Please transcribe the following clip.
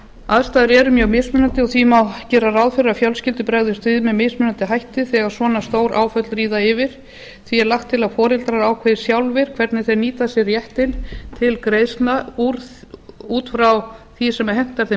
aðstæður eru mjög mismunandi og því má gera ráð fyrir að fjölskyldur bregðist við með mismunandi hætti þegar svona stór áföll ríða yfir því er lagt til að foreldrar ákveði sjálfir hvernig þeir nýta sér réttinn til greiðslna út frá því sem hentar þeim